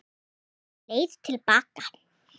Er einhver leið til baka?